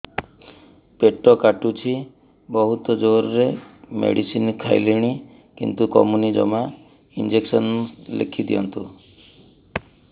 ପେଟ କାଟୁଛି ବହୁତ ଜୋରରେ ମେଡିସିନ ଖାଇଲିଣି କିନ୍ତୁ କମୁନି ଜମା ଇଂଜେକସନ ଲେଖିଦିଅନ୍ତୁ